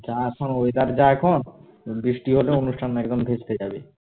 যা এখন weather যা এখন বৃষ্টি হলে অনুষ্ঠান একদম ঘুচকে যাবে